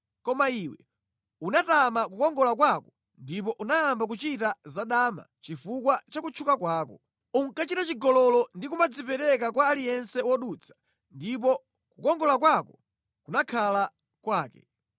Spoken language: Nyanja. “ ‘Koma iwe unatama kukongola kwako ndipo unayamba kuchita zadama chifukwa cha kutchuka kwako. Unkachita chigololo ndi kumangodzipereka kwa aliyense wodutsa ndipo kukongola kwako kunakhala kwake.